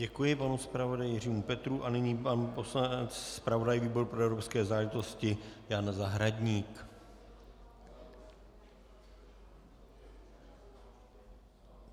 Děkuji panu zpravodaji Jiřímu Petrů a nyní pan poslanec, zpravodaj výboru pro evropské záležitosti Jan Zahradník.